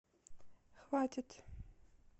хватит